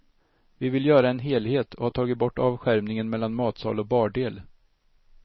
Vi vill göra en helhet och har tagit bort avskärmningen mellan matsal och bardel.